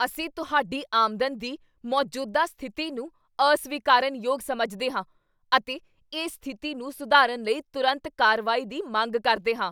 ਅਸੀਂ ਤੁਹਾਡੀ ਆਮਦਨ ਦੀ ਮੌਜੂਦਾ ਸਥਿਤੀ ਨੂੰ ਅਸਵੀਕਾਰਨਯੋਗ ਸਮਝਦੇ ਹਾਂ ਅਤੇ ਇਸ ਸਥਿਤੀ ਨੂੰ ਸੁਧਾਰਨ ਲਈ ਤੁਰੰਤ ਕਾਰਵਾਈ ਦੀ ਮੰਗ ਕਰਦੇ ਹਾਂ।